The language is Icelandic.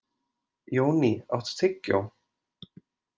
Jóný, áttu tyggjó?